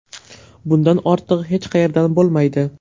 Bundan ortig‘i hech qayerdan bo‘lmaydi.